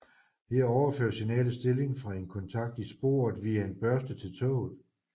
Her overføres signalets stilling fra en kontakt i sporet via en børste til toget